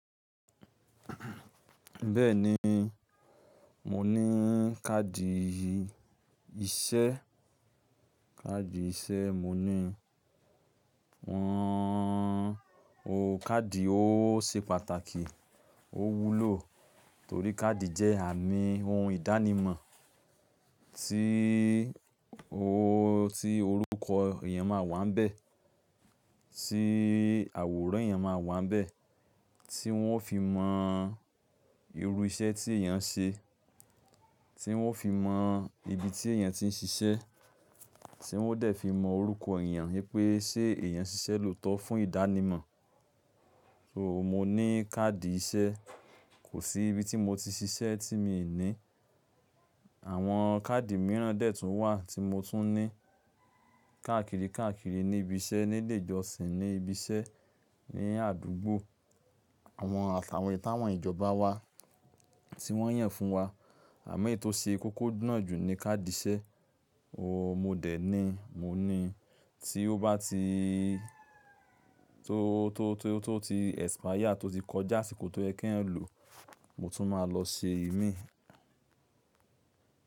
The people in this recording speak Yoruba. Bẹ́ẹ̀ni, mo ní káàdì iṣẹ́. Káàdì iṣẹ́ mo ní. Káàdì ó ṣe pàtàkì, ó wúlò torí káàdì jẹ́ àmì ohun ìdánimọ̀ tí, tí orúkọ èèyàn máa wà níbẹ̀, tí àwòrán èèyàn máa wà níbẹ̀, tí wọ́n ó fi mọ irú iṣẹ́ tí èèyàn ń ṣe, tí wọ́n ó fi mọ ibi tí èèyàn ti ń ṣiṣẹ́, tí wọ́n ó dè fi mọ orúkọ èèyàn wí pé ṣé èèyàn ṣiṣẹ́ lóòótọ́ fún ìdánimọ̀. So mo ní káàdì iṣẹ́, kò sí ibi tí mo ti ṣiṣẹ́ tí mi ò ní. Àwọn káàdì mìíràn dè tún wà tí mo tún ní. Kàákìrí kàákìrí níbi iṣẹ́, ní ilé ìjọsìn, ní ibi iṣẹ́, ní àdúgbò, àwọn atàwon-eyi táwọn ìjọba wá tí wọ́n yàn fún wa. Àma eyi tó ṣe kókó náà jù ni káàdì iṣẹ́. O mo dè ní, mo ní tí ó bá ti tó, tó, tó, tó ti expire, tó ti kọjá àsìkò tó yẹ k'eeyan lò, mo tún máa lọ ṣe ìmíì.